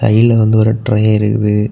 கீழ வந்து ஒரு ட்ரே இருக்குது.